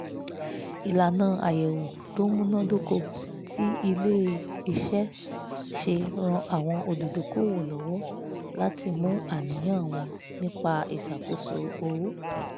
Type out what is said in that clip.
ìlànà àyẹ̀wò tó múná dóko tí ilé-iṣẹ́ ṣe ràn àwọn olùdókòwò lọ́wọ́ láti mú àníyàn wọn nípa ìṣàkóso owó